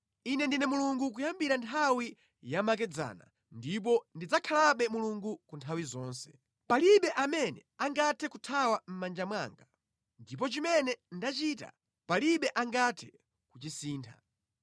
“Ine ndine Mulungu kuyambira nthawi yamakedzana, ndipo ndidzakhalabe Mulungu ku nthawi zonse. Palibe amene angathe kuthawa mʼmanja mwanga, ndipo chimene ndachita palibe angathe kuchisintha.”